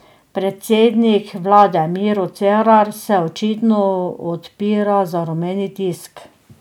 Predsednik vlade Miro Cerar se očitno odpira za rumeni tisk.